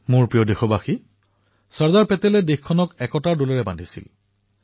মোৰ মৰমৰ দেশবাসীসকল চৰ্দাৰ পেটেলে দেশক একতাৰ সুঁতাৰে বান্ধিবলৈ সক্ষম হৈছিল